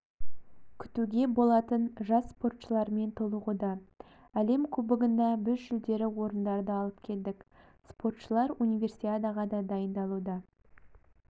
күтуге болатын жас спортшылармен толығуда әлем кубогында біз жүлделі орындарды алып келдік спортшылар универсиадаға дайындалуда